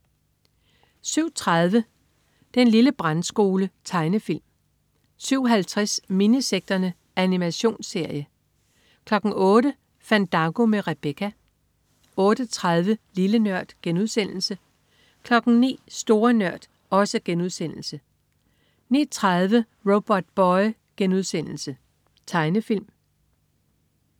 07.30 Den lille brandskole. Tegnefilm 07.50 Minisekterne. Animationsserie 08.00 Fandango med Rebecca 08.30 Lille Nørd* 09.00 Store Nørd* 09.30 Robotboy.* Tegnefilm